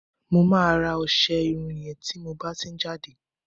mo ma ra ọsẹ Irun yen ti mo ba ti n jade